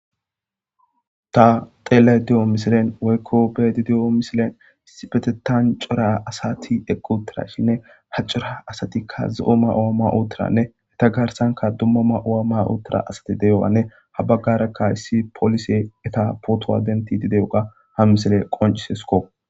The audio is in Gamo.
Ta xeele di'o misilen woykko beedi de'o misilen sibetetan cora asati eqqutirashinne ha cora asatikka ze'omma awamma uottiranne heta garsanka dumma ma awamma uottira asati deyowanne habagarakka yssi poolise eta pootowa denti dide oga ha misile qoncisesko.